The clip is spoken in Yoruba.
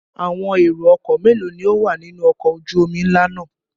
Àwọn èrò-ọkọ̀ mélòó ni ó wà nínú ọkọ̀ ojú-omi ńlá náà?